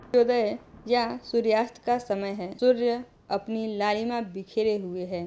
उदय यह सूर्यअस्त का समय है सूर्य अपनी लालिमा बिखरे हुए हैं।